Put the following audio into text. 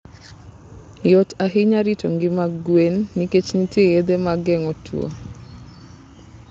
Yot ahinya rito ngima gwen nikech nitie yedhe mag geng'o tuwo.